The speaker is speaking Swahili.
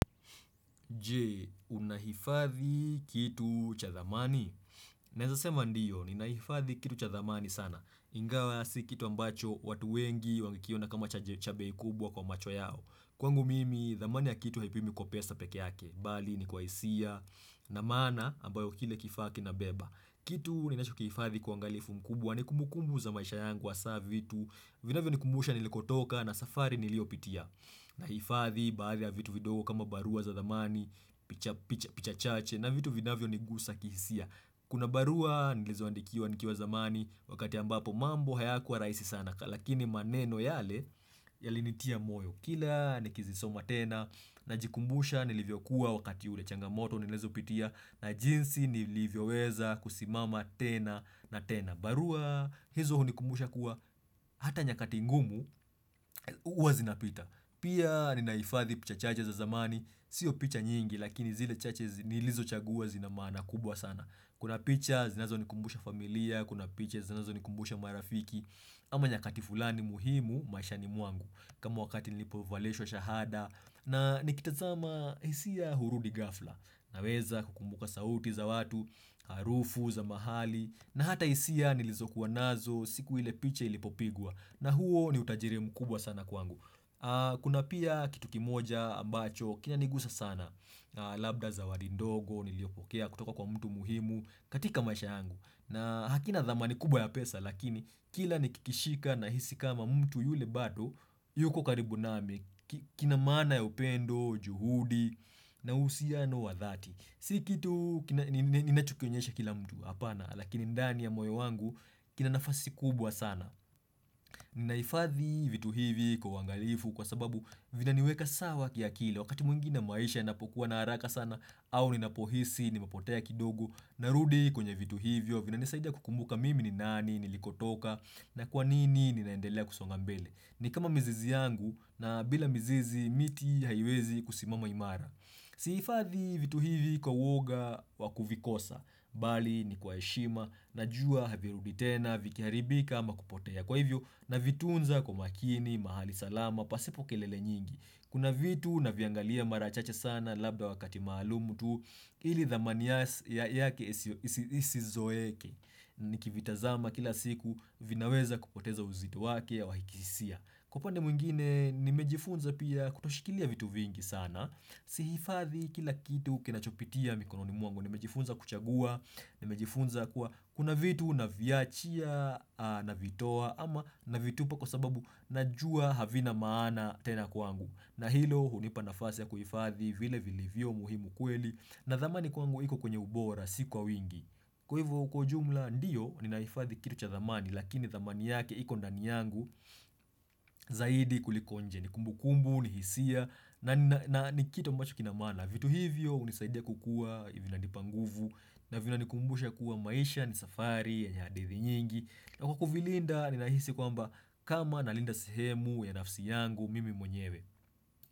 Je, unahifadhi kitu cha thamani? Naezasema ndio, ninahifadhi kitu cha thamani sana. Ingawa si kitu ambacho watu wengi wangekiona kama cha bei kubwa kwa macho yao. Kwangu mimi, dhamani ya kitu haipimwi kwa pesa peke yake. Bali, ni kwa hisia. Na maana, ambayo kile kifaa kinabeba. Kitu, ninachokiifadhi kwa uangalifu mkubwa ni kumbukumbu za maisha yangu hasa vitu Vinavyonikumbusha nilikotoka na safari niliyopitia. Nahifadhi baadhi ya vitu vidogo kama barua za dhamani. Picha picha picha chache na vitu vinavyonigusa kihisia. Kuna barua nilizoandikiwa nikiwa zamani wakati ambapo mambo hayakuwa rahisi sana. Lakini maneno yale yalinitia moyo kila nikizisoma tena najikumbusha nilivyokuwa wakati ule changamoto nilizopitia na jinsi nilivyoweza kusimama tena na tena. Barua hizo hunikumbusha kuwa hata nyakati ngumu huwa zinapita. Pia ninahifadhi picha chache za zamani, sio picha nyingi lakini zile chache zinilizochagua zina maana kubwa sana. Kuna picha zinazonikumbusha familia, kuna picha zinazonikumbusha marafiki, ama nyakati fulani muhimu maishani mwangu. Kama wakati nilipovalishwa shahada na nikitazama hisia hurudi ghafla. Naweza kukumbuka sauti za watu, harufu za mahali na hata hisia nilizokuwa nazo siku ile picha ilipopigwa na huo ni utajiri mkubwa sana kwangu. Kuna pia kitu kimoja ambacho kinanigusa sana labda zawadi ndogo niliyopokea kutoka kwa mtu muhimu katika maisha yangu na hakina dhamani kubwa ya pesa lakini kila nikikishika nahisi kama mtu yule bado yuko karibu nami kina maana ya upendo, juhudi na uhusiano wa dhati. Si kitu ninachokionyesha kila mtu hapana lakini ndani ya moyo wangu kina nafasi kubwa sana. Ninahifadhi vitu hivi kwa uangalifu kwa sababu vinaniweka sawa kiakili wakati mwingine maisha inapokuwa na haraka sana au ninapohisi nimepotea kidogo narudi kwenye vitu hivyo vinanisaida kukumbuka mimi ni nani nilikotoka na kwa nini ninaendelea kusonga mbele. Ni kama mizizi yangu na bila mizizi miti haiwezi kusimama imara. Sihifadhi vitu hivi kwa uoga wakuvikosa, bali ni kwa heshima, najua havirudi tena, vikiharibika ama kupotea kwa hivyo navitunza kwa umakini, mahali salama, pasipo kelele nyingi. Kuna vitu naviangalia mara chache sana labda wakati maalumu tu ili dhamani yake isizoeke, nikivitazama kila siku vinaweza kupoteza uzito wake wa kihisia. Kwa upande mwingine nimejifunza pia kutoshikilia vitu vingi sana, si hifadhi kila kitu kinachopitia mikononi mwangu, nimejifunza kuchagua, nimejifunza kuwa kuna vitu naviachia, navitoa ama na vitupa kwa sababu najua havina maana tena kwangu. Na hilo hunipa nafasi ya kuhifadhi vile vilivyo muhimu kweli na dhamani kwangu iko kwenye ubora si kwa wingi. Kwa hivyo kwa ujumla ndiyo ninahifadhi kitu cha dhamani lakini dhamani yake iko ndani yangu zaidi kuliko nje. Ni kumbukumbu, ni hisia na ni kitu ambacho kina maana. Vitu hivyo hunisaidia kukua, vinanipa nguvu na vina nikumbusha kuwa maisha ni safari yenye hadithi nyingi. Na kwa kuvilinda ninahisi kwamba kama nalinda sehemu ya nafsi yangu mimi mwenyewe.